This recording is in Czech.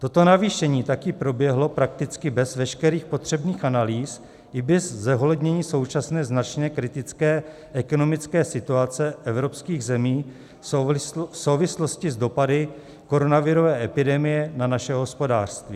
Toto navýšení také proběhlo prakticky bez veškerých potřebných analýz i bez zohlednění současné značně kritické ekonomické situace evropských zemí v souvislosti s dopady koronavirové epidemie na naše hospodářství.